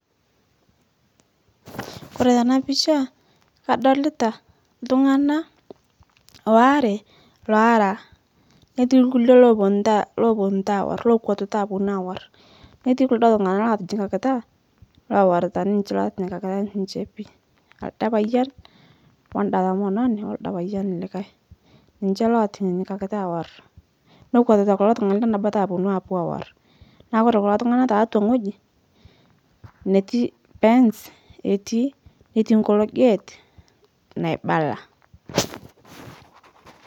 Kore tana pisha, kadolita ltung'ana oare loara netii lkule looponuta looputa aaorr lookwatuta aponu aaorr, netii kuldo tung'ana lotinyikakita lowarita niche lotinyikakita niche pii, alde payian, oanda tomononi, oldo payian likae, niche lotinyikakita aaorr, nekwatuta kulo tung'ana lenabata aponu aapo aaorr, naa Kore kulo tung'ana taatwa ng'oji netii pens etii netii nkolo gate naibala